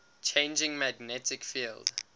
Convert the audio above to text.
changing magnetic field